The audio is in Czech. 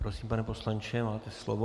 Prosím, pane poslanče, máte slovo.